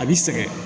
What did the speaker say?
A b'i sɛgɛn